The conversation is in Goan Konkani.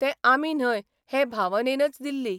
ते आमी न्हय हे भावनेनच दिल्ली.